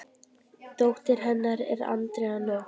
Dóttir hennar er Andrea Nótt.